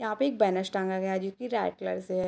यहाँ पे एक बैनर टांगा गया है जोकि रेड कलर से है ।